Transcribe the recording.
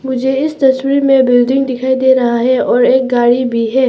मुझे इस तस्वीर में बिल्डिंग दिखाई दे रहा है और एक गाड़ी भी है।